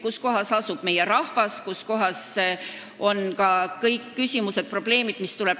Nende poole pöördub meie rahvas, nende lahendada on kõik küsimused-probleemid.